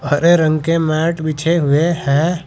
हरे रंग के मैट बिछे हुए है।